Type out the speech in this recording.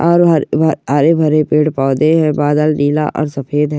और हरे भरे पेड़ पौधे है बादल नीला और सफेद है।